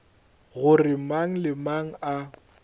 gore mang le mang a